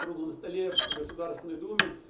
другом столе в государственной думе